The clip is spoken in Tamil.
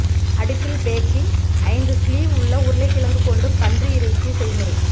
அடுப்பில் பேக்கிங் ஐந்து ஸ்லீவ் உள்ள உருளைக்கிழங்கு கொண்டு பன்றி இறைச்சி செய்முறை